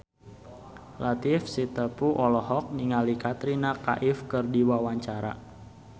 Latief Sitepu olohok ningali Katrina Kaif keur diwawancara